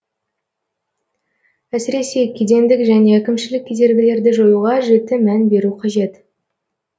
әсіресе кедендік және әкімшілік кедергілерді жоюға жіті мән беру қажет